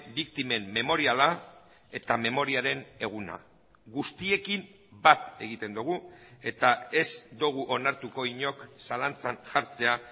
biktimen memoriala eta memoriaren eguna guztiekin bat egiten dugu eta ez dugu onartuko inork zalantzan jartzea